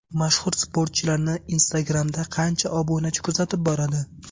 Mashhur sportchilarni Instagram’da qancha obunachi kuzatib boradi?